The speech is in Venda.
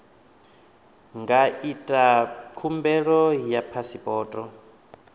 nga ita khumbelo ya phasipoto